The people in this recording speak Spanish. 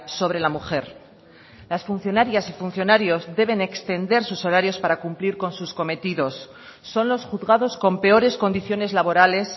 sobre la mujer las funcionarias y funcionarios deben extender sus horarios para cumplir con sus cometidos son los juzgados con peores condiciones laborales